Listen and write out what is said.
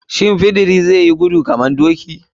Shin fidiri zai yi gudu kamar doki?